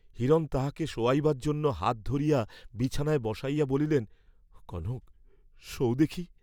হিরণ তাহাকে শোয়াইবার জন্য হাত ধরিয়া বিছানায় বসাইয়া বলিলেন, কনক, শোও দেখি।